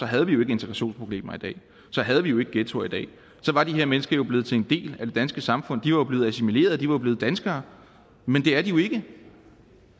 havde vi jo ikke integrationsproblemer i dag så havde vi jo ikke ghettoer i dag så var de her mennesker jo blevet til en del af det danske samfund de var blevet assimileret de var blevet danskere men det er de jo ikke